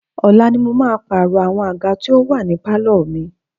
Ọ̀la ni mo máa pààrọ̀ àwọn àga tí ó wà ní pálọ̀ mi.